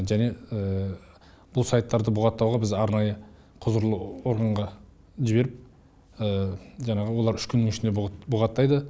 және бұл сайттарды бұғаттауға біз арнайы құзырлы органға жіберіп жаңағы олар үш күннің ішінде бұғаттайды